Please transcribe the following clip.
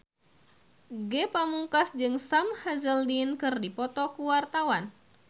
Ge Pamungkas jeung Sam Hazeldine keur dipoto ku wartawan